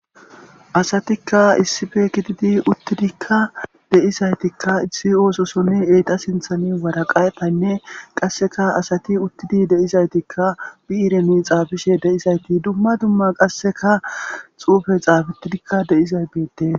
Asatika issippe gididi uttidika de'izayti ba oososonne eeta sinthani woraqataynne qaseka asati uttidi de'izaytika biiren xaafishe de'izayti duma duma qaseka xuufey xaafetidoka de'izayti deetes.